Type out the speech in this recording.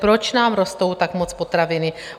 Proč nám rostou tak moc potraviny?